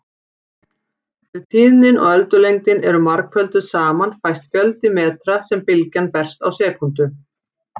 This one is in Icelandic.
Ef tíðnin og öldulengdin eru margfölduð saman fæst fjöldi metra sem bylgjan berst á sekúndu.